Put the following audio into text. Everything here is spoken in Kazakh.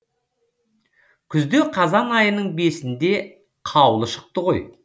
күзде қазан айының бесінде қаулы шықты ғой